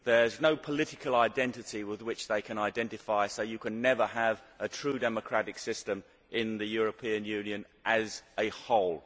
there is no political identity with which they can identify, so you can never have a true democratic system in the European Union as a whole.